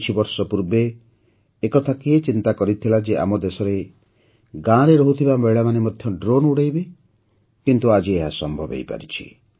କିଛିବର୍ଷ ପୂର୍ବେ ଏ କଥା କିଏ ଚିନ୍ତା କରିଥିଲା ଯେ ଆମ ଦେଶରେ ଗାଁରେ ରହୁଥିବା ମହିଳାମାନେ ମଧ୍ୟ ଡ୍ରୋନ୍ ଉଡ଼ାଇବେ କିନ୍ତୁ ଆଜି ଏହା ସମ୍ଭବ ହୋଇପାରିଛି